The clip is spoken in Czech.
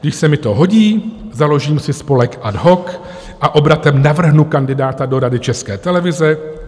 Když se mi to hodí, založím si spolek ad hoc a obratem navrhnu kandidáta do Rady České televize.